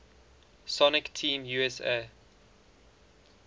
sonic team usa